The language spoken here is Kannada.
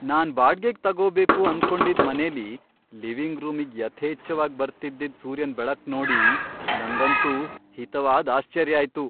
ನಾನ್ ಬಾಡ್ಗೆಗ್ ತಗೋಬೇಕು ಅನ್ಕೊಂಡಿದ್ ಮನೆಲಿ ಲಿವಿಂಗ್ ರೂಮಿಗ್ ಯಥೇಚ್ಛವಾಗ್ ಬರ್ತಿದ್ದಿದ್ ಸೂರ್ಯನ್ ಬೆಳಕ್ ನೋಡಿ ನಂಗಂತೂ ಹಿತವಾದ್ ಆಶ್ಚರ್ಯ ಆಯ್ತು.